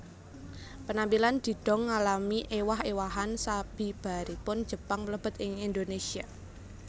Penampilan didong ngalami ewah ewahan sabibaripun Jepang mlebet ing Indonesia